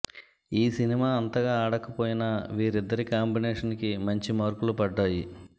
ఈ సినిమా అంతగా ఆడకపోయినా వీరిద్దరి కాంబినేషన్ కి మంచి మార్కులు పడ్డాయి